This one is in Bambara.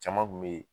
Caman kun be yen